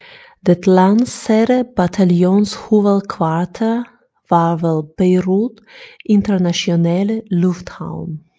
Det landsatte bataljonshovedkvarter var ved Beirut Internationale Lufthavn